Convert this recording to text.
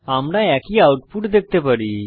আমরা একই আউটপুট দেখতে পারি